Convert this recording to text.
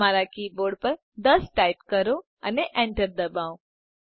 તમારા keyboard પર 10ટાઈપ કરો અને enterદબાવો